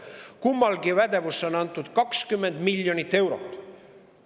Kummagi pädevusse on antud 20 miljonit eurot.